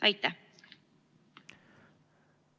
Aitäh!